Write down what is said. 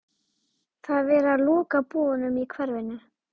Það er verið að loka búðunum í hverfinu.